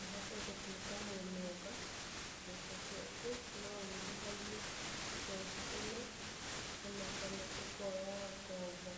ũhote gũtuĩka mũmemba, mbeca ciaku no ũigithagie bengi ĩno o na kana ũkoya ngombo.